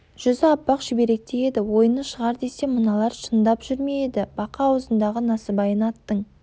жүзі аппақ шүберектей еді ойыны шығар десем мыналар шындап жүр ме еді бақа аузындағы насыбайын аттың